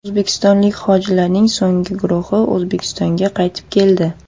O‘zbekistonlik hojilarning so‘nggi guruhi O‘zbekistonga qaytib keldi.